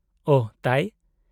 -ᱳᱦᱚ ᱛᱟᱭ ?